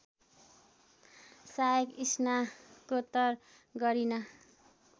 सहायक स्नाकोत्तर गरिन